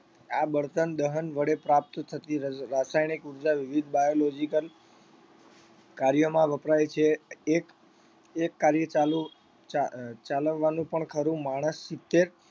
આ બળતણ દહન વડે પ્રાપ્ત થતી રસ રાસાયણિક ઉર્જા વિવિધ biological કાર્યમાં વપરાય છે એક એક કાર્ય ચાલુ ચા ચાલવવાનું પણ ખરું માણસ સિત્તેર